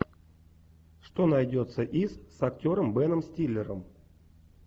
что найдется из с актером беном стиллером